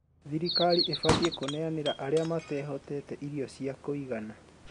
Thirikari ĩbatiĩ kũneanĩra arĩa matehotete irio cia kũigana